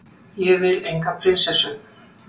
Ég vil enga prinsessu.